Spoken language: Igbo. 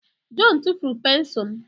John tụfuru pensụl m.